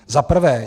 Za prvé.